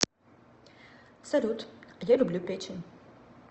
салют а я люблю печень